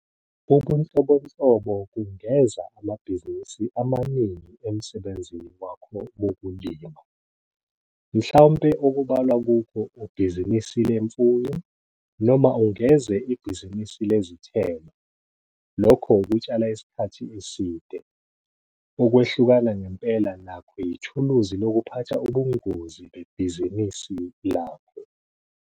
Ubunhlobonhlobo kungeza amabhizinisi amaningi emsebenzini wakho wokulima. Mhlampe okubalwa kukho ubhizinisi lemfuyo, noma ungeze ibhizinisi lezithelo, lokho ukutshala isikhathi eside. Ukwehlukana ngempela nakho yithuluzi lokuphatha ubungozi bebhizinisi lakho.